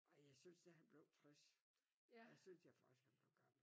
Ej jeg syntes da han blev 60 der syntes faktisk han blev gammel